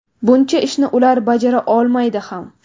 Buncha ishni ular bajara olmaydi ham.